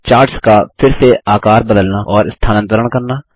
charts का फिर से आकर बदलना और स्थानांतरण करना